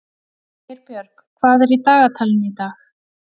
Geirbjörg, hvað er í dagatalinu í dag?